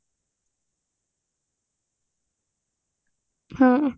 ହ୍ମ